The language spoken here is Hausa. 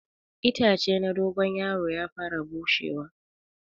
Itace na dogon yaro ya fara bushewa.